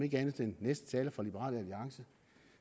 ikke andet den næste taler fra liberal alliance